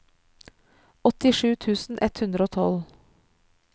åttisju tusen ett hundre og tolv